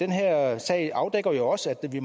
den her sag afdækker jo også at vi